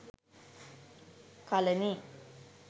kalani